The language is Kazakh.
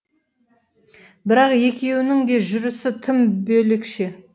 бірақ екеуінің де жүрісі тым бөлекше